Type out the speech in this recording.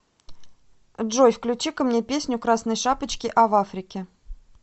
джой включи ка мне песню красной шапочки а в африке